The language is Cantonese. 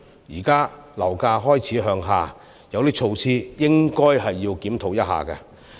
現時樓價開始向下，有些措施應該檢討一下。